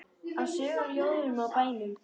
Af sögum, ljóðum og bænum.